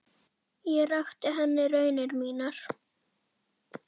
Ég rakti henni raunir mínar.